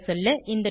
சுருங்கசொல்ல